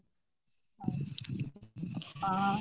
অহ